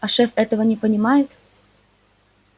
а шеф этого не понимает